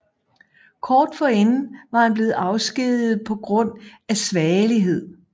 Kort forinden var han blevet afskediget på grund af svagelighed